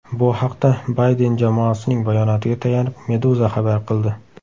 Bu haqda Bayden jamoasining bayonotiga tayanib Meduza xabar qildi .